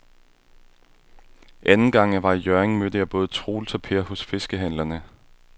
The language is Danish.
Anden gang jeg var i Hjørring, mødte jeg både Troels og Per hos fiskehandlerne.